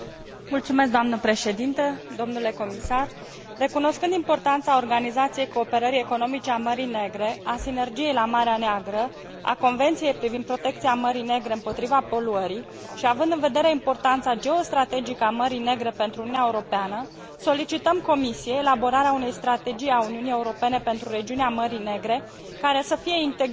Recunoscând importanța Organizației Cooperării Economice a Mării Negre, a Sinergiei la Marea Neagră, a Convenției privind protecția Mării Negre împotriva poluării și având în vedere importanța geostrategică a Mării Negre pentru Uniunea Europeană, solicităm Comisiei elaborarea unei strategii a Uniunii Europene pentru regiunea Mării Negre, care să fie integrată cu strategia Uniunii Europene pentru regiunea Dunării.